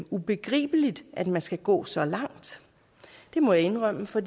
ubegribeligt at man skal gå så langt det må jeg indrømme for